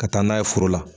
Ka taa n'a ye foro la